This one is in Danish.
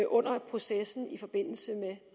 under processen i forbindelse med